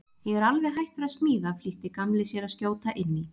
Ég er alveg hættur að smíða flýtti Gamli sér að skjóta inn í.